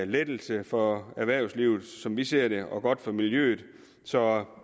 lettelse for erhvervslivet som vi ser det og godt for miljøet så